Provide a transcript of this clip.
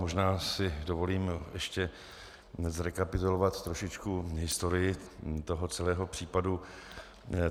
Možná si dovolím ještě zrekapitulovat trošičku historii toho celého případu.